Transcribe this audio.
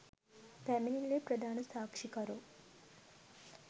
පැමිණිල්ලේ ප්‍රධාන සාක්ෂිකරු